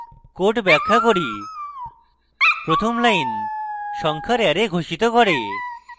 code ব্যাখ্যা করি প্রথম line সংখ্যার অ্যারে ঘোষিত করে